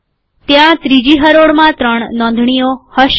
ત્યાં બીજી હરોળમાં ત્રણ નોંધણીઓ હશે